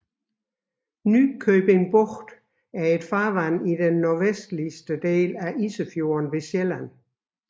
Nykøbing Bugt er et farvand i den nordvestlige del af Isefjorden ved Sjælland